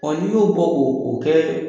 Ɔ n'i y'o bɔ k'o o kɛ